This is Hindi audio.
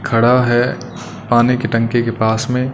खड़ा है पानी की टंकी के पास में।